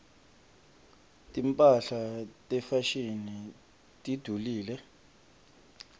timphahla tefashini tidulile